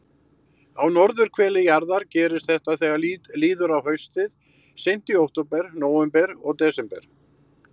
Á norðurhveli jarðar gerist þetta þegar líður á haustið, seint í október, nóvember og desember.